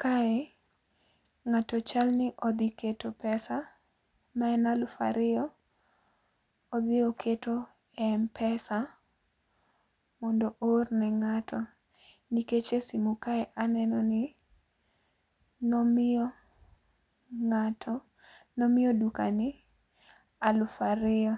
Kae ng'ato chal ni odhi keto pesa maen alufu ariyo, odhi oketo e m-pesa mondo oor ne ng'ato nikech e simu kae aneno ni nomiyo ng'ato nomiyo jadukani alufu ariyo